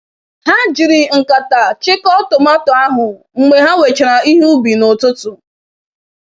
Ha jiri nkata chịko tomato ahụ mgbe ha wechara ihe ubi n'ụtụtụ.